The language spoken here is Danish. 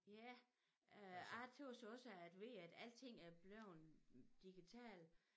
Ja øh jeg tøs også at ved at alting er bleven digital